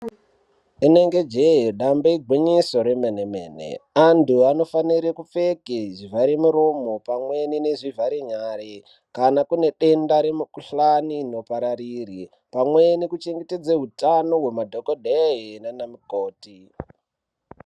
Rinenge jee dambe igwinyiso remene mene antu aunofanire kupfeka zvivhara muromo pamwe nezvivhare nyara kana kune denda remukuhlani rinopariri pamwe nekuchengetedza utano hwemadhokodheya pamwe nana mukoti.